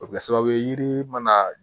O bɛ kɛ sababu ye yiri mana